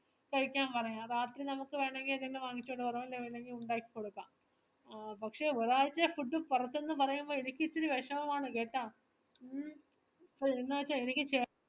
കഴിക്കാം പറയാം രാത്രി വേണേ നമക് എന്തേലും വാങ്ങിച്ചോണ്ട് വരാം അല്ലെങ്കി ഒണ്ടാക്കി കൊടുക്കാം പക്ഷേ ഒരാഴ്ച food പൊറത്തുന്നു പറയുമ്പോ എനിക്ക് ഇച്ചിരി വിഷമമാണ് കേട്ടാ വരുമ്പോ പൊറത്തൂന്ന് full ന്നു വച്ചാ എനിക്ക് ചേട്ട